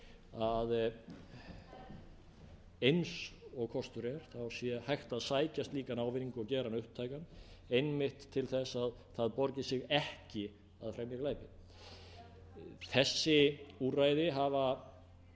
að eins og kostur er sé hægt að sækja slíkan ávinning og gera hann upptækan einmitt til að það borgi sig ekki að fremja glæpi þessi úrræði hafa